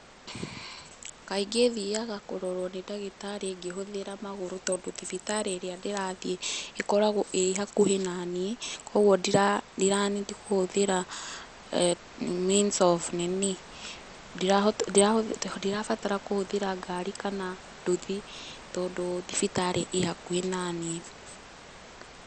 Kaingĩ thiaga kũrorwo nĩ ndagĩtarĩ ngĩhũthĩra magũrũ, tondũ thibitarĩ ĩrĩa ndĩrathiĩ ĩkoragwo ĩ hakuhĩ naniĩ, koguo ndira need kũhũthĩra means of nini ndirabatara kũhũthĩhĩra ngari kana nduthi tondũ thibitarĩ ĩ hakuhĩ naniĩ.